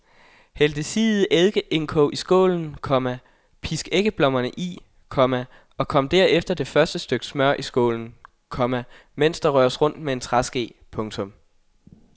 Hæld det siede eddikeindkog i skålen, komma pisk æggeblommerne i, komma og kom derefter det første stykke smør i skålen, komma mens der røres rundt med en træske. punktum